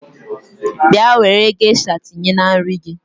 Bịa were gesha tinye na nri gị!